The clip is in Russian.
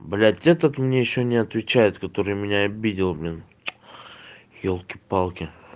блять этот мне ещё не отвечает который меня обидел блин ёлки-палки